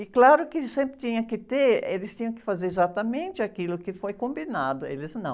E claro que sempre tinha que ter, eles tinham que fazer exatamente aquilo que foi combinado, eles não.